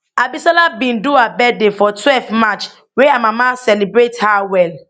abisola bin do her birthday for twelve march wia her mama celebrate her well